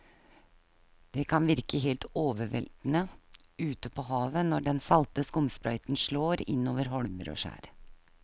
Det kan virke helt overveldende ute ved havet når den salte skumsprøyten slår innover holmer og skjær.